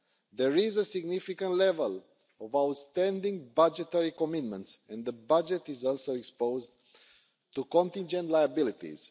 There is a significant level of outstanding budgetary commitments and the budget is also exposed to contingent liabilities.